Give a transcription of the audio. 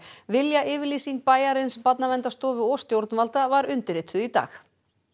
viljayfirlýsing bæjarins Barnaverndarstofu og stjórnvalda var undirrituð í dag